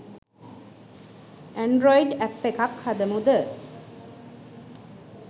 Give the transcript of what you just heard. Android app එක්ක හදමු ද?